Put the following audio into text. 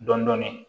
Dɔɔnin dɔɔnin